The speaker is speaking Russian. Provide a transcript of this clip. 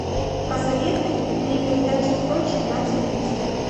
посоветуй мне передачу сочи на телевизоре